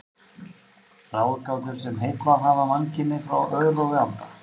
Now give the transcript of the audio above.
Ráðgátur, sem heillað hafa mannkynið frá örófi alda.